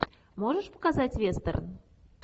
можешь показать вестерн